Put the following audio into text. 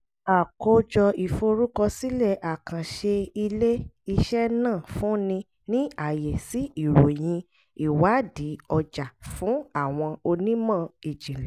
àkójọ ìforúkọsílẹ̀ àkànṣe ilé-iṣẹ́ náà fúnni ní àyè sí ìròyìn ìwádìí ọjà fún àwọn onímọ̀ ìjìnlẹ̀